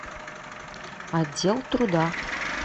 отдел труда